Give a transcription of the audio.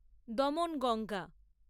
Damanganga